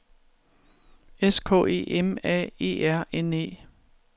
S K E M A E R N E